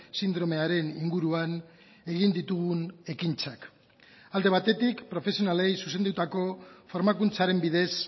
sindromearen inguruan egin ditugun ekintzak alde batetik profesionalei zuzendutako formakuntzaren bidez